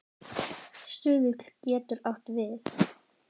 Stuðull getur átt við